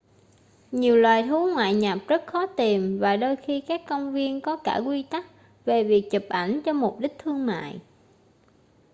nhiều loài thú ngoại nhập rất khó tìm và đôi khi các công viên có cả quy tắc về việc chụp ảnh cho mục đích thương mại